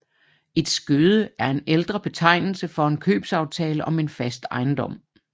Et skøde er en ældre betegnelse for en købsaftale om en fast ejendom